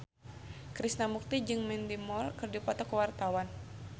Krishna Mukti jeung Mandy Moore keur dipoto ku wartawan